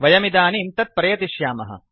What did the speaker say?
वयमिदानीं तद् प्रयतिष्यामः